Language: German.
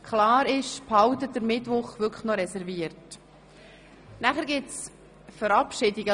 Ich bitte Sie, sich den Mittwoch auf jeden Fall noch zu reservieren.